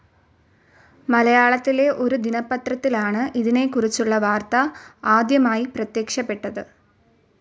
മലയാളത്തിലെ ഒരു ദിനപത്രത്തിലാണ് ഇതിനെക്കുറിച്ചുള്ള വാർത്ത ആദ്യമായി പ്രത്യക്ഷപ്പെട്ടത്.